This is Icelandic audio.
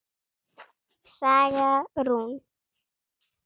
Saga Rún.